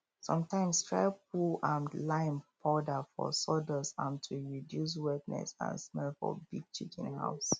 sometimes try poue um lime powder for sawdust um to reduce wetness and smell for big chicken house